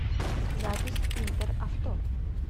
запись интер авто